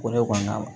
O de kɔnɔna la